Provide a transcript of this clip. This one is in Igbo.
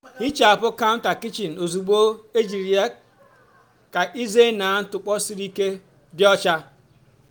hichapụ counter kichin ozugbo ejiri ya ka ịzena ntụpọ siri ike dị ọcha.